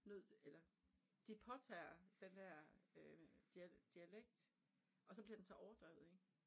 Nødt eller de påtager den der øh dialekt og så bliver den så overdrevet ik